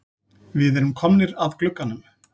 Við erum komnir að glugganum.